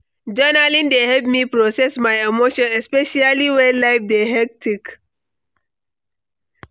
Journaling dey help me process my emotions, especially when life dey hectic.